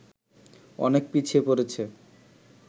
অনেক পিছিয়ে পড়েছে